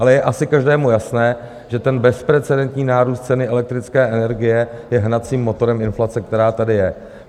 Ale je asi každému jasné, že ten bezprecedentní nárůst ceny elektrické energie je hnacím motorem inflace, která tady je.